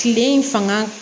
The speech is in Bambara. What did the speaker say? Kile in fanga